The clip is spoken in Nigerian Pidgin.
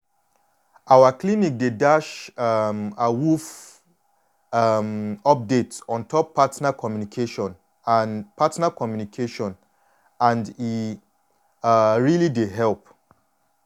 our clinic dey dash um awoof um update ontop partner communication and partner communication and e um really dey help